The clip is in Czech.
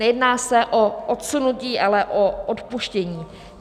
Nejedná se o odsunutí, ale o odpuštění.